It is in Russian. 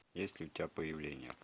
есть ли у тебя появление